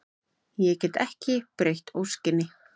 Ég get ekki breytt óskinni.